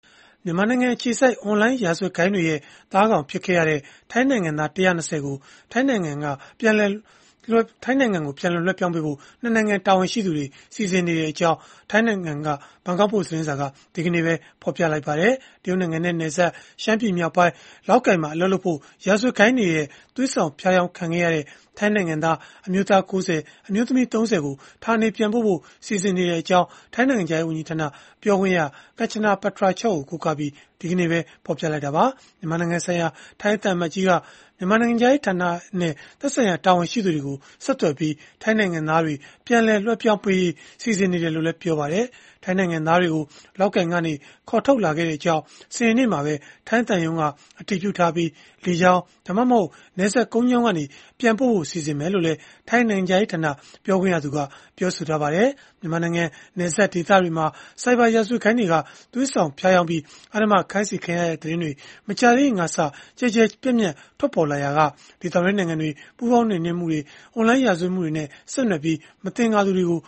မြန်မာနိုင်ငံအခြေစိုက် အွန်လိုင်းရာဇဝတ်ဂိုဏ်းတွေရဲ့ သားကောင်ဖြစ်ခဲ့ရတဲ့ ထိုင်းနိုင်ငံသား ၁၂၀ ကို ထိုင်းနိုင်ငံ ပြန်လည်လွှဲပြောင်းပေးဖို့ ၂ နိုင်ငံ တာဝန်ရှိသူတွေ စီစဉ်နေကြောင်း ထိုင်းသတင်းတွေက ဖော်ပြလိုက်ပါတယ်။ တရုတ်နိုင်ငံနဲ့နယ်စပ် ရှမ်းပြည်နယ်မြောက်ပိုင်း၊ လောက်ကိုင်မှာ အလုပ်လုပ်ဖို့ ရာဇဝတ်ဂိုဏ်းတွေရဲ့ သွေးဆောင်ဖြားယောင် ခံခဲ့ရတဲ့ ထိုင်းနိုင်ငံသား အမျိုးသား ၉၀၊ အမျိုးသမီး ၃၀ ကို ဌာနေပြန်ပို့ဖို့ စီစဉ်နေကြောင်း ထိုင်းနိုင်ငံခြားရေး ဝန်ကြီးဌာန ပြောခွင့်ရ Kanchana Patarachok ကို ကိုးကားပြီး ဘန်ကောက်ပို့စ်သတင်းစာက ဒီကနေ့ပဲ ဖော်ပြခဲ့တာပါ။ မြန်မာနိုင်ငံဆိုင်ရာ ထိုင်းသံအမတ်ကြီးက မြန်မာနိုင်ငံခြားရေးဌာနနဲ့ သက်ဆိုင်ရာ တာဝန်ရှိသူတွေကို ဆက်သွယ်ပြီး ထိုင်းနိုင်ငံသားတွေ ပြန်လည်လွှဲပြောင်းရေး စီစဉ်နေတယ်လို့လည်း ပြောပါတယ်။ ထိုင်းနိုင်ငံသားတွေကို လောက်ကိုင်ကနေ ခေါ်ထုတ်လာခဲ့ပြီးဖြစ်ကြောင်း စနေနေ့မှာပဲ ထိုင်းသံရုံးက အတည်ပြုထားပြီး၊ လေကြောင်း၊ ဒါမှမဟုတ် နယ်စပ်ကနေ ကုန်းကြောင်းကနေ ပြန်ပို့ဖို့ စီစဉ်မယ်လို့ လည်း ထိုင်းနိုင်ငံခြားရေးဌာန ပြောခွင့်ရသူက ပြောဆိုထားပါတယ်။ မြန်မာနိုင်ငံ နယ်စပ်ဒေသတွေမှာ ဆိုင်ဘာရာဇဝတ်ဂိုဏ်းတွေက သွေးဆောင်ဖြားယောင်ပြီး အဓမ္မခိုင်းစေခံရတဲ့ သတင်းတွေ မကြာသေးခင်ကစလို့ ကျယ်ကျယ်ပြန့်ပြန့် ထွက်ပေါ်လာရာက ဒေသတွင်း နိုင်ငံတွေက ပူးပေါင်းနှိမ်နင်းမှုတွေလည်း လုပ်လာကြတာပါ။ အွန်လိုင်းရာဇဝတ်မှုတွေနဲ့ ဆက်နွယ်ပြီး မသင်္ကာသူတွေကို